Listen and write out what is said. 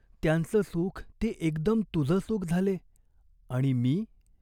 त्यांच सुख ते एकदम तुझं सुख झाले आणि मी ?